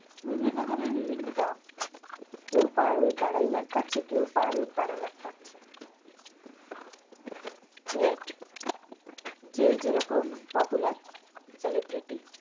বিভিন্ন জনের বিভিন্ন দাম কেও per week আড়াই লাখ পাচ্ছে আবার কেউ per week বারো লাখ পাচ্ছে rate যে যেরকম popular celebrity